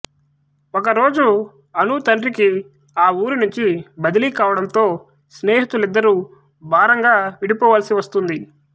ఒక రోజు అను తండ్రికి ఆ ఊరినుంచి బదిలీ కావడంతో స్నేహితులిద్దరూ భారంగా విడిపోవలసి వస్తుంది